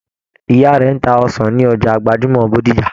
Ìyá rẹ n tá ọsàn ní ọjà gbajúmọ̀ Bódìjà.